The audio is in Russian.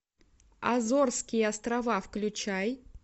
азорские острова включай